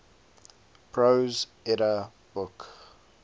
prose edda book